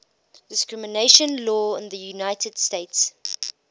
discrimination law in the united states